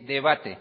debate